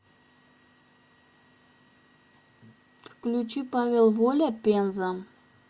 включи павел воля пенза